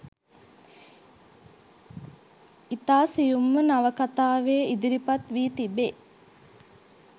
ඉතා සියුම්ව නවකතාවේ ඉදිරිපත් වී තිබේ.